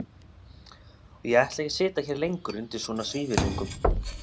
Og ég ætla ekki að sitja hér lengur undir svona svívirðingum.